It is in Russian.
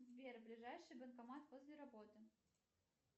сбер ближайший банкомат возле работы